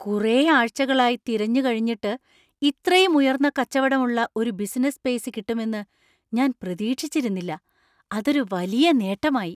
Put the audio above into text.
കുറെ ആഴ്ചകളായി തിരഞ്ഞു കഴിഞ്ഞിട്ട് ഇത്രയും ഉയർന്ന കച്ചവടം ഉള്ള ഒരു ബിസിനസ്സ് സ്പേസ് കിട്ടുമെന്ന് ഞാൻ പ്രതീക്ഷിച്ചിരുന്നില്ല , അതൊരു വലിയ നേട്ടമായി .